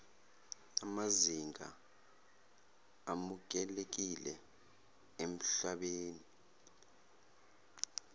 namazinga amukelekile emhlabeni